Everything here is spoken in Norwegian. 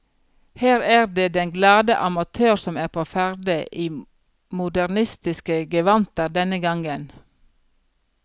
Her er det den glade amatør som er på ferde, i modernistiske gevanter denne gangen.